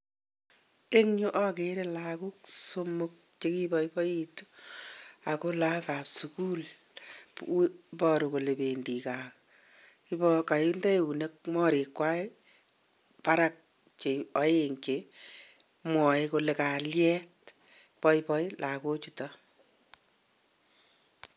Eng yu akere lagok somok chekiboiboitu, ak ko lagokap sukul. Iboru kole pendi kaa. Kainde morikwa barak che aeng' che mwae kole kalyet. Boiboi lagochuto.